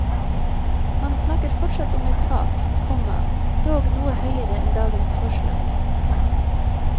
Man snakker fortsatt om et tak, komma dog noe høyere enn dagens forslag. punktum